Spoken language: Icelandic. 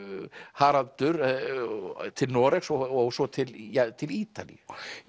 Haraldur til Noregs og svo til til Ítalíu